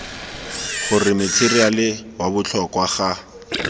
gore matheriale wa botlhokwa ga